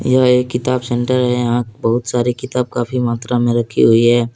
यह एक किताब सेंटर है यहां बहुत सारी किताब काफी मात्रा में रखी हुई है।